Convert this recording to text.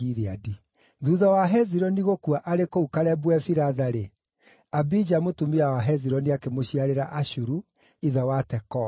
Thuutha wa Hezironi gũkua arĩ kũu Kalebu-Efiratha-rĩ, Abija mũtumia wa Hezironi akĩmũciarĩra Ashuru, ithe wa Tekoa.